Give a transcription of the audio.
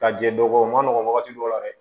Ka jɛ dɔgɔkun ma nɔgɔn wagati dɔw la dɛ